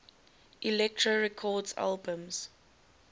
elektra records albums